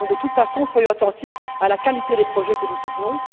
Donc, soyons de toute façon attentifs à la qualité des projets que nous soutenons.